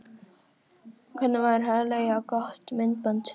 Hvernig væri að leigja gott myndband?